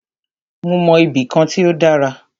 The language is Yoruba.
Mó mọ ibì kan tí o dára.